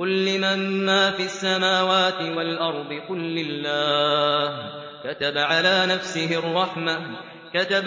قُل لِّمَن مَّا فِي السَّمَاوَاتِ وَالْأَرْضِ ۖ قُل لِّلَّهِ ۚ كَتَبَ